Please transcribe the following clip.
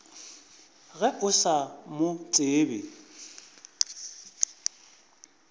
ge o sa mo tsebe